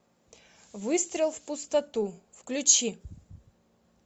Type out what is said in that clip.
выстрел в пустоту включи